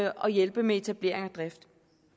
og hjælpe med etablering af drift